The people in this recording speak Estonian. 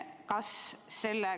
Kas selle ...